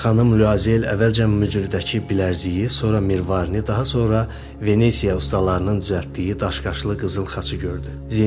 Xanım Luazel əvvəlcə mücrüdəki bilərziyi, sonra mirvarini, daha sonra Venesiya ustalarının düzəltdiyi daşqaşlı qızıl xaçı gördü.